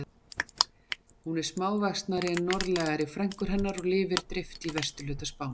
Hún er smávaxnari en norðlægari frænkur hennar og lifir dreift í vesturhluta Spánar.